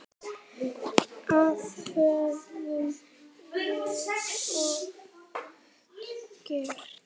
Það höfum við oft gert.